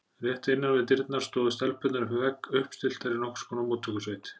Rétt innan við dyrnar stóðu stelpurnar upp við vegg, uppstilltar í nokkurs konar móttökusveit.